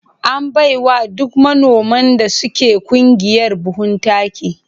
An bai wa duk manoman da suke ƙungiyar buhun. taki